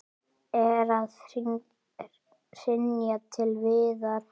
Er að hrynja til viðar.